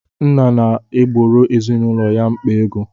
Nna na-egboro ezinaụlọ ya mkpa ego.